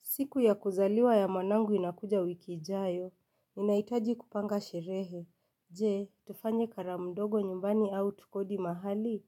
Siku ya kuzaliwa ya mwanangu inakuja wiki ijayo, ninaitaji kupanga sherehe. Je, tufanye karamu mdogo nyumbani au tukodi mahali.